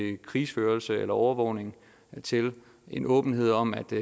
krigsførelse eller overvågning en åbenhed om at det